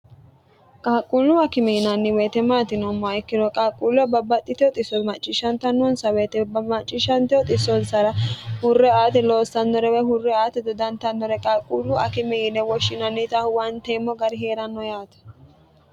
qaaqquullu akimi yinanni weyite maati yinommoa ikkino qaaqquullo babbaxxite uiso macciishshantnnonsa witebmacciishshnte uxisonsara hurre aate loossannorewe hurre aate dodantannore qaaqquullu akimi yine woshshinannita huwanteemmo gari hee'ranno yaate